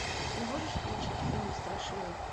ты можешь включить фильм страшилы